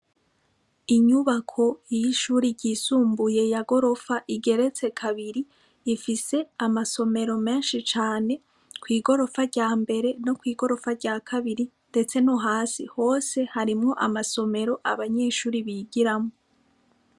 Inyubako y'ishure ryisumbuye ya gorofa igeretse kabiri ifise amasomero menshi cane, kw'igorofa ryambere no kwigorofa rya kabiri, ndetse no hasi hose harimwo amasomero abanyeshure bigiramwo.